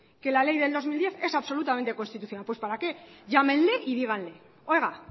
que la ley del dos mil diez es absolutamente constitucional pues para qué llámenle y díganle oiga